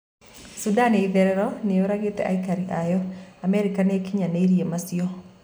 Sudan ya itherero niyũragite aikari ayo Amerika niikinyaniire macio.